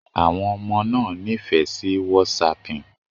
Àwọn ọmọ náà nífẹ̀ẹ́ sí whatsapping